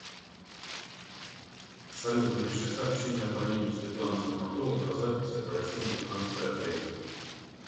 салют напиши сообщение абоненту светлана стоматолог о записи к врачу на пятнадцатое апреля